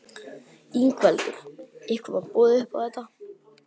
Ingveldur: Ykkur var boðið upp á þetta?